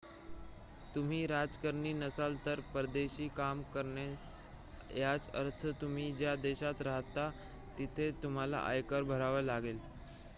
तुम्ही राजकारणी नसाल तर परदेशी काम करणे याचा अर्थ तुम्ही ज्या देशात राहता तिथे तुम्हाला आयकर भरावा लागेल